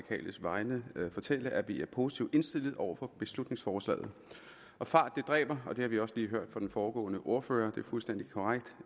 vegne af det fortælle at vi er positivt indstillede over for beslutningsforslaget fart dræber det har vi også lige hørt fra den foregående ordfører og det fuldstændig korrekt